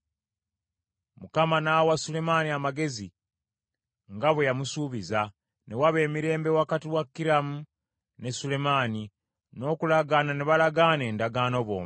Mukama n’awa Sulemaani amagezi, nga bwe yamusuubiza. Ne waba emirembe wakati wa Kiramu ne Sulemaani, n’okulagaana ne balagaana endagaano bombi.